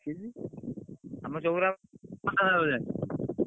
ଆମ ଚଉରା ।